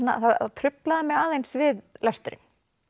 truflaði mig aðeins við lesturinn